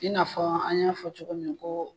I n'a fɔ an y'a fɔ cogo min koo